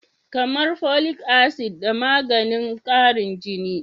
Kamar folic acid da maganin karin jini.